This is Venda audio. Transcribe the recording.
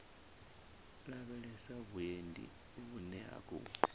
lavhelesa vhuendi vhune ha khou